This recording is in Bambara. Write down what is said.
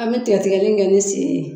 An bɛ tigɛtigɛli kɛ ni sen ye.